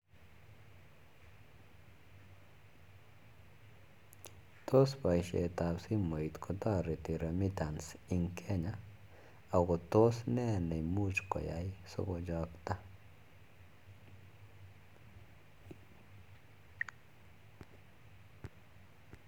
Tos paishet ap simoit kotoreti remittance ing Kenya ako tos ne nemuch keyai sokochakta?